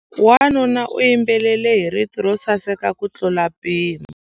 Wanuna u yimbelela hi rito ro saseka kutlula mpimo.